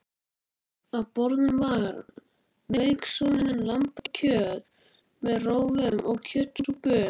Á borðum var mauksoðið lambakjöt með rófum og kjötsúpu